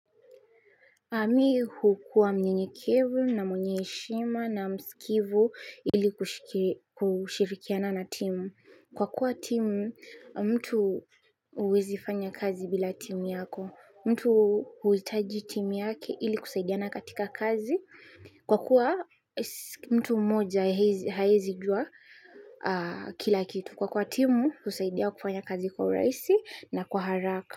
Mi hukuwa mnyenyekevu na mwenye heshima na msikivu ili kushirikiana na timu. Kwa kuwa timu, mtu huwezi fanya kazi bila timu yako. Mtu huhitaji timu yake ili kusaidiana katika kazi. Kwa kuwa mtu mmoja haezi jua kila kitu. Kwa kuwa timu husaidia kufanya kazi kwa urahisi na kwa haraka.